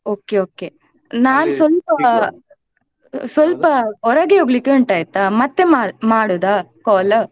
Okay okay ನಾನ್ ಸ್ವಲ್ಪ ಸ್ವಲ್ಪ ಹೊರಗೆ ಹೋಗ್ಲಿಕ್ಕೆ ಉಂಟಯ್ತಾ ಮತ್ತೆ ಮಾ~ ಮಾಡುದ call .